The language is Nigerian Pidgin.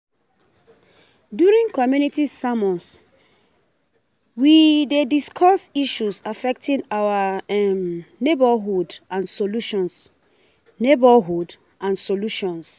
During community sermons, um we dey discuss issues affecting our neighborhood and solutions neighborhood and solutions.